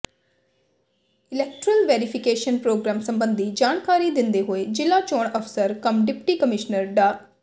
electoral verification programme ਸਬੰਧੀ ਜਾਣਕਾਰੀ ਦਿੰਦੇ ਹੋਏ ਜਿਲ੍ਹਾ ਚੋਣ ਅਫਸਰ ਕਮ ਡਿਪਟੀ ਕਮਿਸ਼ਨਰ ਡਾ